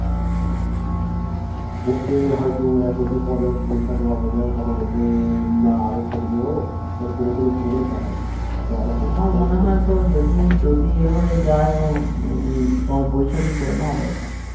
বলবে হয়তো এক বছর পর যখন পরীক্ষা দেওয়া হয়ে যাবে তখন বলবে না আরো পড়বে ও এমনি করে করে কাটাবে ও আরো পড়বে আমার মনে হয়তো যদি যদি ইয়ে হয়ে যাই ও তোমার বৈশাখ এই করে নাও দরকার নেই